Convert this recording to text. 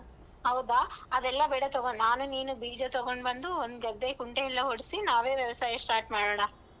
ಹೌದಾ ಅದೆಲ್ಲಾ ಬೇಡ ತಗೋ ನಾನು ನೀನು ಬೀಜ ತಗೋಂಡ್ಬಂದು ಒಂದ್ ಗದ್ದೆ ಕುಂಟೆಯಲ್ಲ ಹೊಡಿಸಿ ನಾವೇ ವ್ಯವಸಾಯ start ಮಾಡಾಣ.